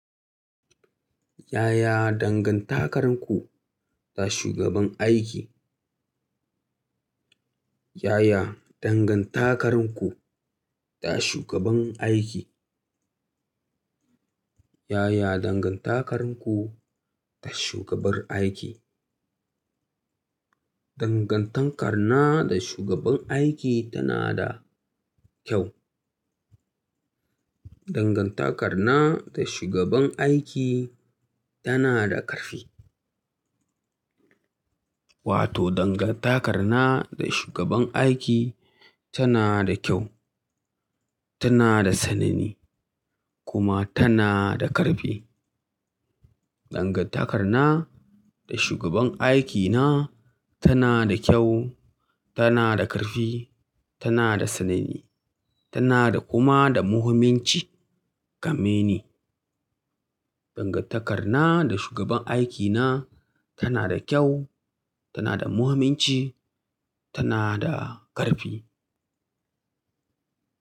Yaya dangantakarku da shugaban aiki? Yaya dangantakarku da shugaban aiki? Yaya dangantakarku da shugabar aiki? Dangantaka na da shugaban aiki tana da kyau. Dangantakar na da shugaban aiki tana da ƙarfi. Wato dangantaka na da shugaban aiki tana da kyau, tana da tsanani kuma tana da ƙarfi. Dangantaka na da shugaban aikina tana da kyau, tana da ƙarfi, tana da tsanani, tana da kuma da muhimmanci game da ni. Dangantaka na da shugaban aikina tana da kyau, tana da muhimmanci, tana da ƙarfi.